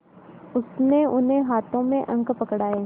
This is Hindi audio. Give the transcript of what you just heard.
उसने उन्हें हाथों में अंक पकड़ाए